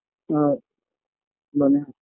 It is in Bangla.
আ মানে